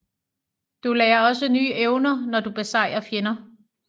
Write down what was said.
Du lærer også nye evner når du besejrer fjender